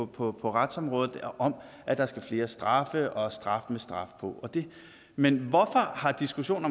på retsområdet om at der skal flere straffe og straf med straf på men hvorfor har diskussionen